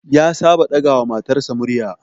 Ya saba ɗaga wa matarsa murya